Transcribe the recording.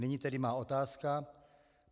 Nyní tedy moje otázka.